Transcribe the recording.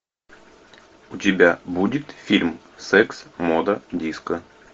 у тебя будет фильм секс мода диско